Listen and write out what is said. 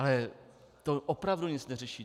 Ale to opravdu nic neřeší.